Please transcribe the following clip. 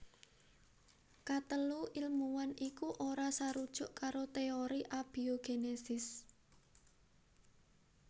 Katelu ilmuwan iku ora sarujuk karo téori abiogénesis